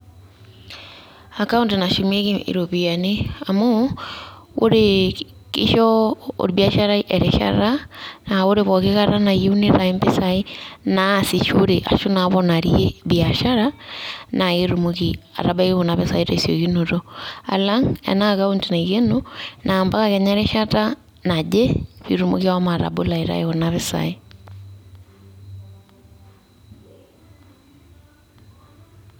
Account nashumieki iropiyiani, amu oree, kisho olbiasharai erishata, naa ore pooki kata nayieu neitayu mpisaai naasishore ashu naaponarie biashara naa ketumoki atabaiki kuna pisai tesiokinoto, alang' ena account naikeno naa mpaka kenya erishata naje, piitumoki ashomo atabolo aitayu kuna pisai.